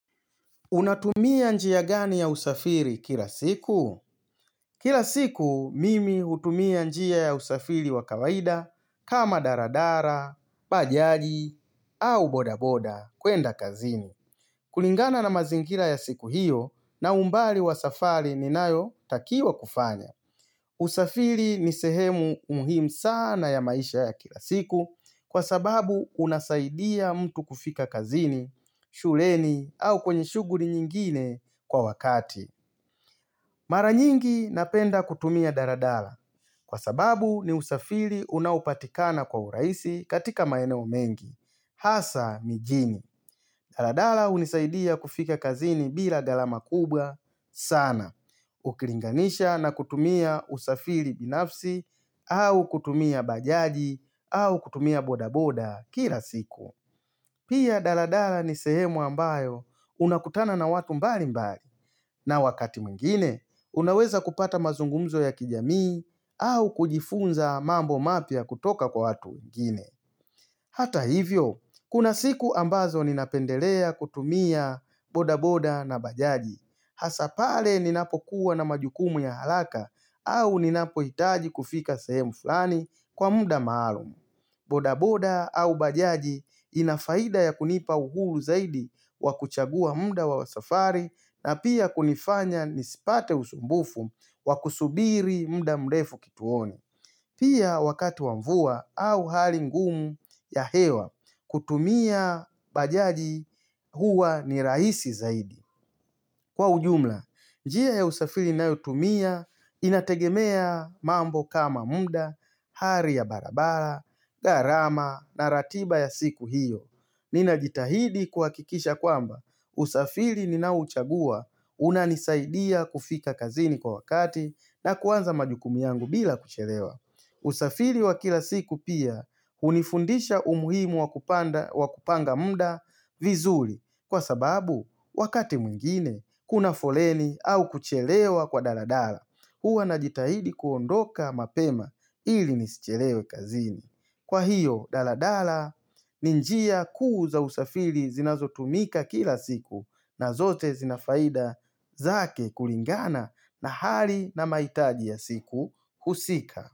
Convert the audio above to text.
Unatumia njia gani ya usafiri kila siku? Kila siku, mimi utumia njia ya usafiri wa kawaida kama daradara, bajaji, au bodaboda, kwenda kazini. Kulingana na mazingira ya siku hiyo, na umbali wa safari ninayo takiwa kufanya. Usafiri nisehemu umhimu sana ya maisha ya kila siku kwa sababu unasaidia mtu kufika kazini, shuleni, au kwenye shuguli nyingine kwa wakati. Mara nyingi napenda kutumia daladala kwa sababu ni usafiri unaopatikana kwa uraisi katika maeneo mengi. Hasa mijini. Daladala unisaidia kufika kazini bila galama kubwa sana. Ukilinganisha na kutumia usafili binafsi au kutumia bajaji au kutumia bodaboda kila siku. Pia daladala ni sehemu ambayo unakutana na watu mbali mbali na wakati mwingine unaweza kupata mazungumzo ya kijamii au kujifunza mambo mapya kutoka kwa watu wengine Hata hivyo, kuna siku ambazo ninapendelea kutumia bodaboda na bajaji hasa pale ninapokuwa na majukumu ya halaka au ninapoitaji kufika sehemu fulani kwa muda maalumu bodaboda au bajaji inafaida ya kunipa uhuru zaidi wa kuchagua munda wa safari na pia kunifanya nisipate usumbufu wa kusubiri munda mlefu kituoni. Pia wakati wa mvua au hali ngumu ya hewa kutumia bajaji huwa ni rahisi zaidi. Kwa ujumla, njia ya usafili na utumia inategemea mambo kama muda, hari ya barabara, garama na ratiba ya siku hiyo. Nina jitahidi kuwakikisha kwamba usafiri ninauchagua unanisaidia kufika kazini kwa wakati na kuwanza majukumi yangu bila kuchelewa. Usafiri wa kila siku pia unifundisha umuhimu wa kupanga muda vizuli kwa sababu wakati mwingine kuna foleni au kuchelewa kwa daladala. Hua najitahidi kuondoka mapema ili nisichelewe kazini. Kwa hiyo, daladala, ni njia kuu za usafiri zinazo tumika kila siku na zote zinafaida zake kulingana na hali na maitaji ya siku husika.